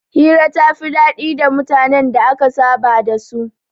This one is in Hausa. Hira ta fi daɗi da mutanen da aka saba da su